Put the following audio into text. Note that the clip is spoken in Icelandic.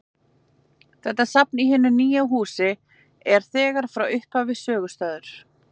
Þetta safn í hinu nýja húsi er þegar frá upphafi sögustaður.